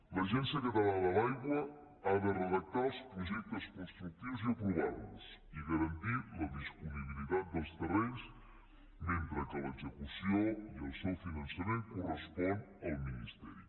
l’agència catalana de l’aigua ha de redactar els projectes constructius i aprovar los i garantir la dispo nibilitat dels terrenys mentre que l’execució i el seu finançament corresponen al ministeri